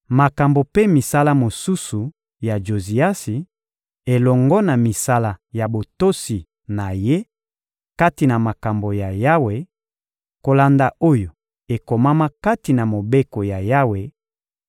Makambo mpe misala mosusu ya Joziasi, elongo na misala ya botosi na ye kati na makambo ya Yawe, kolanda oyo ekomama kati na Mobeko ya Yawe,